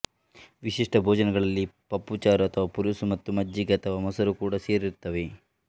ವಿಶಿಷ್ಟ ಭೋಜನಗಳಲ್ಲಿ ಪಪ್ಪುಚಾರು ಅಥವಾ ಪುಲುಸು ಮತ್ತು ಮಜ್ಜಿಗೆ ಅಥವಾ ಮೊಸರು ಕೂಡಾ ಸೇರಿರುತ್ತವೆ